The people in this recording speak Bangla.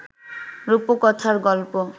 রুপকথার গল্প